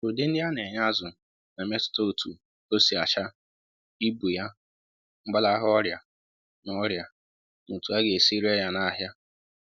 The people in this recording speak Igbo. Udi nri a na-enye azụ na-emetụta otu o si acha, ibu ya, mgbalaha orịa, na orịa, na otu a ga esi ree ya n'ahịa